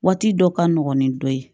Waati dɔ ka nɔgɔn ni dɔ ye